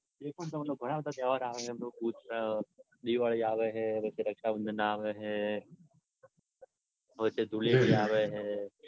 જે પણ તમને તહેવાર આવે હે ને. દિવાળી આવે રક્ષાબંધન આવે હે ને વચ્ચે ધુળેટી આવે હે